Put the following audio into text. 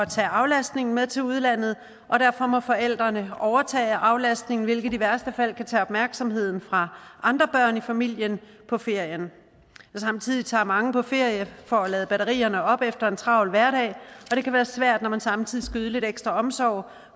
tage aflastningen med til udlandet og derfor må forældrene overtage aflastningen hvilket i værste fald kan tage opmærksomheden fra andre børn i familien på ferien samtidig tager mange på ferie for at lade batterierne op efter en travl hverdag og det kan være svært når man samtidig skal yde lidt ekstra omsorg